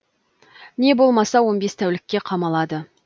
не болмаса он бес тәулікке қамалады